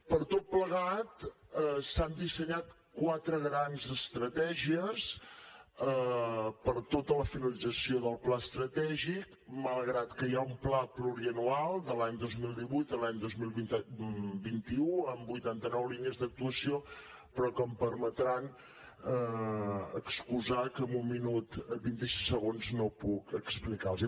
per tot plegat s’han dissenyat quatre grans estratègies per a tota la finalització del pla estratègic malgrat que hi ha un pla plurianual de l’any dos mil divuit a l’any dos mil vint u amb vuitanta nou línies d’actuació però que em permetran excusar que en un minut vint i sis segons no puc explicar los hi